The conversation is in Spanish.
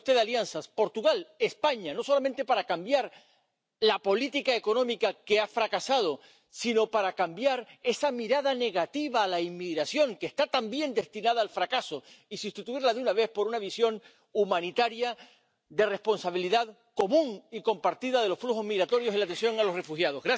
Busque usted alianzas —Portugal, España— no solamente para cambiar la política económica que ha fracasado, sino para cambiar esa mirada negativa a la inmigración, que está también destinada al fracaso, y sustituirla de una vez por una visión humanitaria, de responsabilidad común y compartida de los flujos migratorios y la atención a los refugiados.